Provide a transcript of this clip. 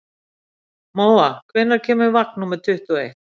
Móa, hvenær kemur vagn númer tuttugu og eitt?